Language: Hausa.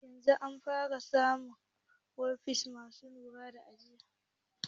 Yanzun an fara samun ofis masu na'uran ajiye halrta